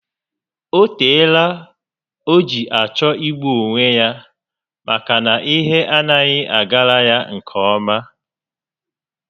O teela o ji achọ igbu onwe ya maka na ihe anaghị agara ya nke ọma